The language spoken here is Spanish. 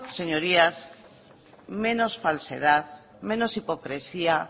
señorías menos falsedad menos hipocresía